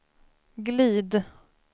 glid